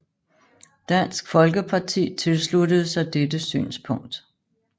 Dansk Folkeparti tilsluttede sig dette synspunkt